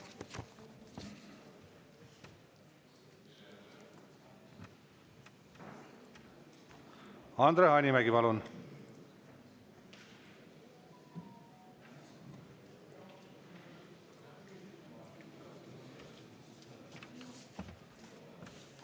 Andre Hanimägi, palun!